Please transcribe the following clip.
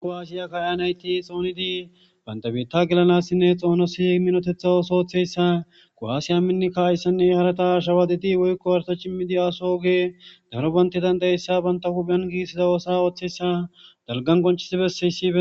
kowaasiya kayanayti xoonidi bantabitta gelanassinne xoonosi minotetha ooso ooththeyssa ko7aasiya minnikka ayssanne harata ashawadidi woykko warta cimmidi aso oge daro banti dandayeyssa banta hupheyan giissiza oosa ooththessa dalgan qoncisibesseysibe